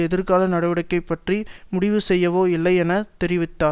எதிர்கால நடவடிக்கை பற்றி முடிவுசெய்யவோ இல்லை என தெரிவித்தார்